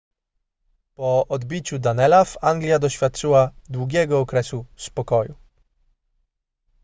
po odbiciu danelaw anglia doświadczyła długiego okresu spokoju